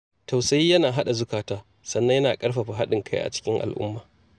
Tausayi yana haɗa zukata, sannan yana ƙarfafa haɗin kai a cikin al'umma